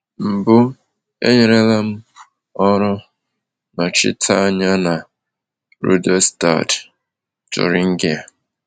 Mbụ, enyerela m ọrụ nnọchiteanya na Rudolstadt, Thuringia.